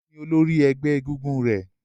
Olú ni olórí ẹgbẹ́ egúngún rẹ̀.